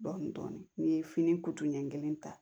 Dɔnni n'i ye fini ɲɛ kelen ta